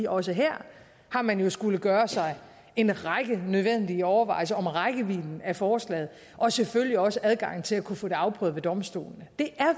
også her har man jo skullet gøre sig en række nødvendige overvejelser om rækkevidden af forslaget og selvfølgelig også adgangen til at kunne få det afprøvet ved domstolene det